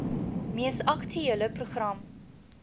mees aktuele program